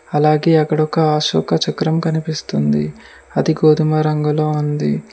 అలాగే అక్కడ ఒక అశోక చక్రం కనిపిస్తుంది అది గోధుమ రంగులో ఉంది.